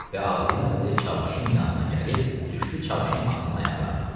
Və ağlaya-ağlaya Çavuşun yanına gəlib düşdü Çavuşun atının ayaqlarına.